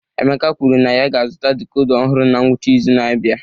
Emeka kwuru na ya ga-azụta decoder ọhụrụ na ngwụcha izu na-abịa